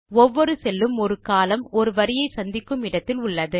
ஒவ்வொரு செல் உம் ஒரு கோலம்ன் ஒரு வரியை சந்திக்கும் இடத்தில் உள்ளது